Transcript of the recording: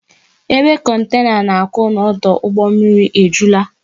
Ebe kontena na-akwụ n'ọdụ ụgbọ mmiri ejulaa